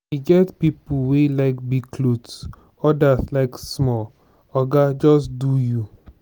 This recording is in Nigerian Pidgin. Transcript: e get pipo wey like big clothes odas like small oga just do you.